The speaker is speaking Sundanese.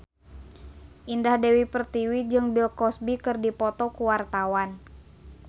Indah Dewi Pertiwi jeung Bill Cosby keur dipoto ku wartawan